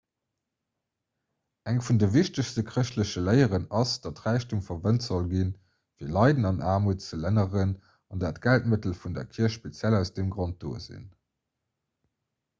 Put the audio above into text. eng vun de wichtegste chrëschtleche léieren ass datt räichtum verwent sollt ginn fir leiden an aarmut ze lënneren an datt d'geldmëttel vun der kierch speziell aus deem grond do sinn